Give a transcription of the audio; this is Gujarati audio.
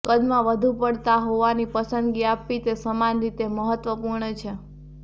કદમાં વધુ પડતા હોવાની પસંદગી આપવી તે સમાન રીતે મહત્વપૂર્ણ છે